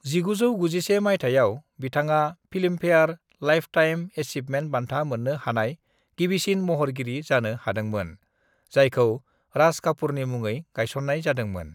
"1991 माइथायाव, बिथाङा Filmfare lifetime achievement बान्था मोन्नो हानाय गिबिसिन महरगिरि जानो हादोंमोन, जायखौ राज कापूरनि मुङै गायसन्नाय जादोंमोन।"